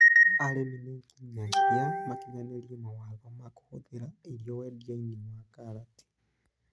Arĩmi ninginyagia makinyanĩriw mawatho ma kũgitĩra irio wendiainĩ wa karati.